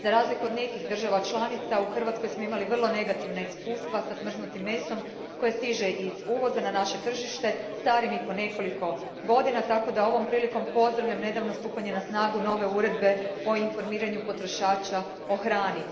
Za razliku od nekih država članica, u Hrvatskoj smo imali vrlo negativna iskustva sa smrznutim mesom koje stiže iz uvoza na naše tržište starim i po nekoliko godina tako da ovom prilikom pozdravljam nedavno stupanje na snagu nove uredbe o informiranju potrošača o hrani.